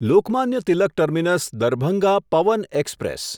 Lokmanya Tilak terminus Darbhanga Pawan express